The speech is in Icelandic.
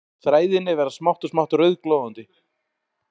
Þræðirnir verða smátt og smátt rauðglóandi